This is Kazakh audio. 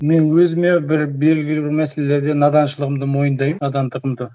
мен өзіме бір белгілі бір мәселелерде наданшылығымды мойындаймын надандығымды